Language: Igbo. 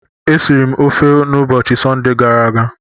E siri m ofe n'ubochi Sọnde gara aga.